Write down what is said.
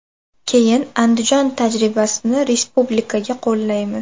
Keyin Andijon tajribasini respublikaga qo‘llaymiz.